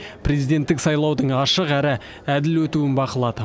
президенттік сайлаудың ашық әрі әділ өтуін бақылады